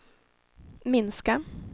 minska